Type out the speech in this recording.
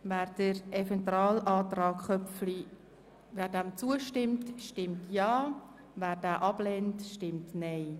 Wer dem Eventualantrag Köpfli zustimmt, stimmt Ja, wer diesen ablehnt, stimmt Nein.